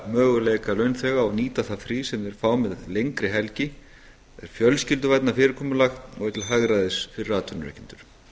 möguleika launþega á að nýta það frí sem þeir fá með lengri helgi það er fjölskylduvænna fyrirkomulag og er til hagræðis fyrir atvinnurekendur